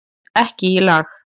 Ekki í lagi